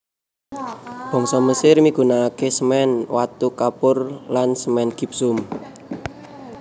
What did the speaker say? Bangsa Mesir migunakaké semèn watu kapur lan semèn gipsum